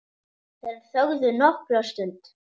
Þeir þögðu nokkra stund.